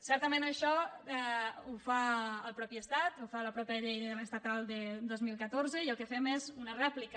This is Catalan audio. certament això ho fa el mateix estat ho fa la mateixa llei estatal de dos mil catorze i el que fem és una rèplica